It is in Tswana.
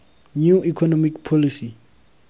new economic policy